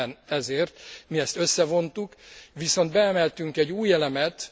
Éppen ezért mi ezt összevontuk, viszont beemeltünk egy új elemet.